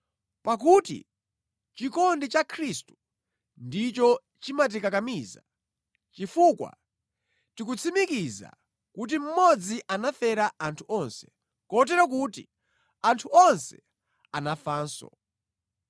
Pakuti chikondi cha Khristu ndicho chimatikakamiza, chifukwa tikutsimikiza kuti mmodzi anafera anthu onse, kotero kuti anthu onse anafanso.